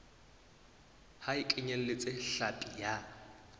ha e kenyeletse hlapi ya